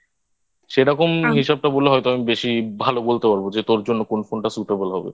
সেরকম হিসাবটা বললে হয়তো আমি বেশি ভালো বলতে পারব যে তোর জন্য কোন কোনটা Suitable হবে